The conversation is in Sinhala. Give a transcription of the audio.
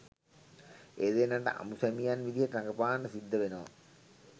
ඒ දෙන්නට අඹු සැමියන් විදිහට රඟපාන්න සිද්ධ වෙනවා